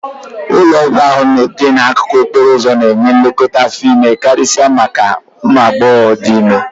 Ụlọọgwụ ahụ dị n'akụkụ okporo ụzọ ahụ na-enye nlekọta afọ ime karịsịa maka ụmụ agbọghọ dị ime